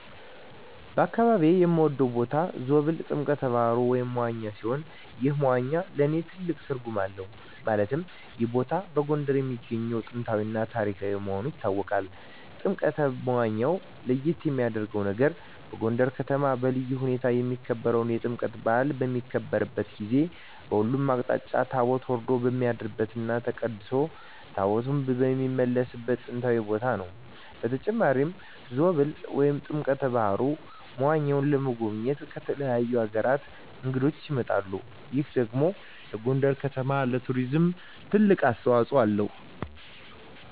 በአካባቢየ የምወደው ቦታ ዞብል ጥምቀተ ባህሩ (መዋኛ) ሲሆን ይህ መዋኛ ለእኔ ትልቅ ትርጉም አለው ማለትም ይህ ቦታ በጎንደር የሚገኝ ጥንታዊ እና ታሪካዊ መሆኑ ይታወቃል። ጥምቀተ መዋኛው ለየት የሚያረገው ነገር በጎንደር ከተማ በልዩ ሁኔታ የሚከበረው የጥምቀት በአል በሚከበርበት ጊዜ በሁሉም አቅጣጫ ታቦት ወርዶ የሚያድርበት እና ተቀድሶ ታቦታት የሚመለስበት ጥንታዊ ቦታ ነው። በተጨማሪም ዞብል ጥምቀተ በሀሩ (መዋኛው) ለመጎብኘት ከተለያዩ አገራት እንግዶች ይመጣሉ ይህ ደግሞ ለጎንደር ከተማ ለቱሪዝም ትልቅ አስተዋጽኦ አለው።